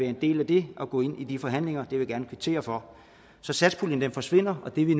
en del af det og gå ind i de forhandlinger det vil jeg gerne kvittere for så satspuljen forsvinder og det vil